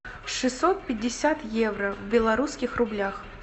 шестьсот пятьдесят евро в белорусских рублях